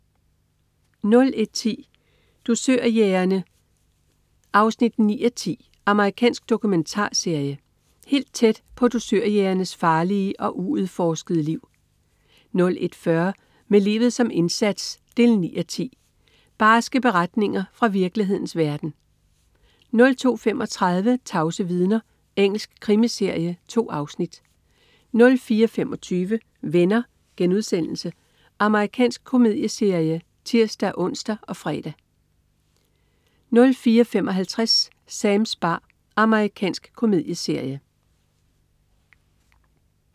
01.10 Dusørjægerne 9:10. Amerikansk dokumentarserie. Helt tæt på dusørjægernes farlige og uudforskede liv 01.40 Med livet som indsats 9:10. Barske beretninger fra virkelighedens verden 02.35 Tavse vidner. Engelsk krimiserie. 2 afsnit 04.25 Venner.* Amerikansk komedieserie (tirs-ons og fre) 04.55 Sams bar. Amerikansk komedieserie